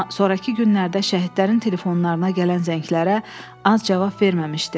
Amma sonrakı günlərdə şəhidlərin telefonlarına gələn zənglərə az cavab verməmişdi.